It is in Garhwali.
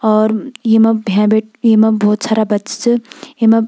और येमा भें भी येमा भोत सारा बच्चा च येमा --